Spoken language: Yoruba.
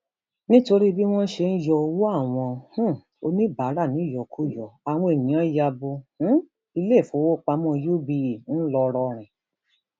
nítorí bí wọn ṣe ṣe ń yọ ọwọ àwọn um oníbàárà níyọkuyọ àwọn èèyàn ya bo um iléèfowópamọ uba ńlọrọrìn